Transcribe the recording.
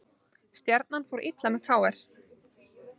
Stjarnan fór illa með KR